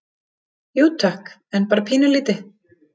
Jú, takk, en bara pínulítið.